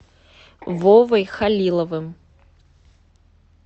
вовой халиловым